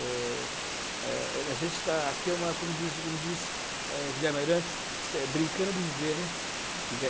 eh, eh. A gente está aqui, como como diz Guilherme Ayrantes, brincando de viver, né?